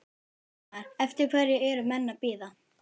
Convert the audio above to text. Fréttamaður: Eftir hverju eru menn að bíða?